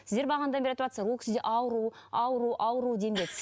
сіздер бағанадан бері айтыватсыздар ол кісіде ауру ауру ауру